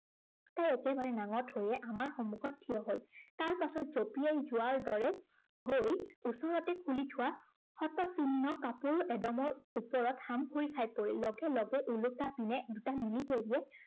তাই একেবাৰে নাঙঠ হৈয়ে আমাৰ সন্মুখত ঠিয় হল। তাৰপিছত জঁপিয়াই যোৱাৰ দৰে, গৈ ওচৰতে খুলি থোৱা শতচিহ্ন কাপোৰ এদমত হামখুৰি খাই পৰিল। লগে লগে ওলোটা পিনে দুটা military এ